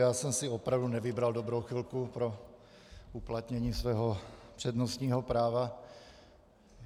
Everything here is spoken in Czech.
Já jsem si opravdu nevybral dobrou chvilku pro uplatnění svého přednostního práva.